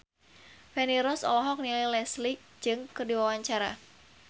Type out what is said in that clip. Feni Rose olohok ningali Leslie Cheung keur diwawancara